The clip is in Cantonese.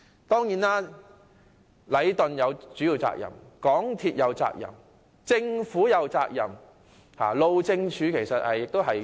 當然，禮頓有主要責任，港鐵公司有責任，政府其實也有責任。